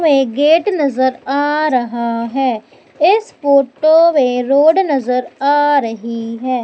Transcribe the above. में गेट नजर आ रहा है इस फोटो में रोड नजर आ रही है।